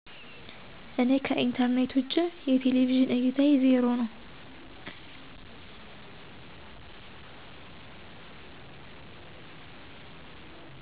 እኔ ከኢንተርኔት ውጭ የቴሌቪዥን እይታየ 0 ነው